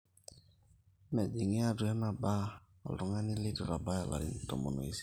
meejingi atua ena bar oltungani leitu eitabaiki larin tomon oisiet